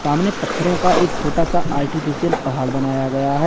सामने पत्थरओं का एक छोटा सा आर्टीफिशियल पहाड़ बनाया गया है।